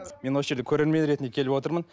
мен осы жерге көрермен ретінде келіп отырмын